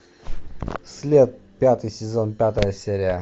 след пятый сезон пятая серия